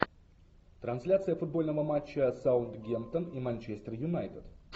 трансляция футбольного матча саутгемптон и манчестер юнайтед